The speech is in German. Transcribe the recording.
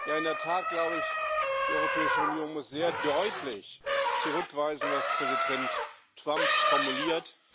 Ja, in der Tat glaube ich, die Europäische Union muss sehr deutlich zurückweisen, was Präsident Trump formuliert.